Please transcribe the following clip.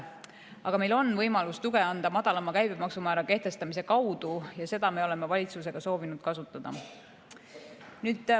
Aga meil on võimalus anda tuge madalama käibemaksumäära kehtestamise kaudu ja seda võimalust me oleme valitsusega soovinud kasutada.